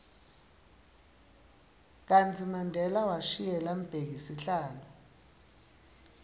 kartsi mandela washiyela mbheki sihlalo